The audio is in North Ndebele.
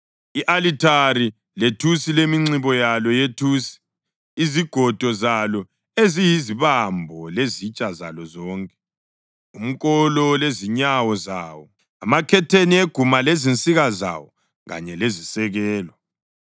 i-alithari lethusi leminxibo yalo yethusi, izigodo zalo eziyizibambo lezitsha zalo zonke; umkolo lezinyawo zawo; amakhetheni eguma lezinsika zawo kanye lezisekelo,